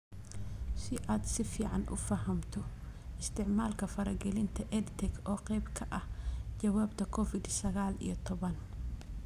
Si aad si fiican u fahamto isticmaalka faragelinta EdTech oo qayb ka ah jawaabta Covid sagaal iyo tobbaan.